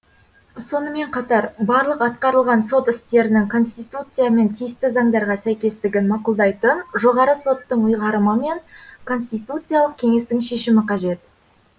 сонымен қатар барлық атқарылған сот істерінің конституция мен тиісті заңдарға сәйкестігін мақұлдайтын жоғары соттың ұйғарымы мен конституциялық кеңестің шешімі қажет